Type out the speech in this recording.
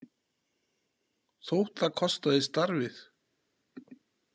Þótt það kostaði starfið?